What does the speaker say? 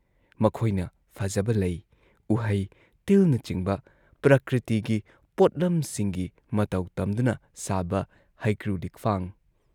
ꯃꯈꯣꯏꯅ ꯐꯖꯕ ꯂꯩ, ꯎꯍꯩ, ꯇꯤꯜꯅꯆꯤꯡꯕ ꯄ꯭ꯔꯀ꯭ꯔꯤꯇꯤꯒꯤ ꯄꯣꯠꯂꯝꯁꯤꯡꯒꯤ ꯃꯇꯧ ꯇꯝꯗꯨꯅ ꯁꯥꯕ ꯍꯩꯀ꯭ꯔꯨ ꯂꯤꯛꯐꯥꯡ,